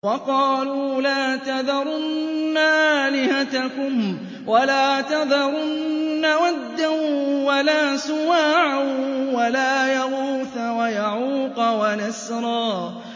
وَقَالُوا لَا تَذَرُنَّ آلِهَتَكُمْ وَلَا تَذَرُنَّ وَدًّا وَلَا سُوَاعًا وَلَا يَغُوثَ وَيَعُوقَ وَنَسْرًا